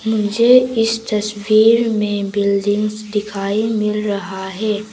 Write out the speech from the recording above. मुझे इस तस्वीर में बिल्डिंग्स दिखाई मिल रहा है।